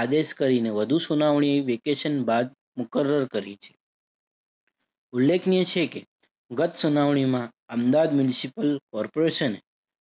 આદેશ કરીને વધુ સુનવણી વેકેશન બાદ મુકર્રર કરી છે. ઉલ્લેખનીય છે કે ગત સુનવણીમાં અમદાવાદ municipal કોર્પોરેશને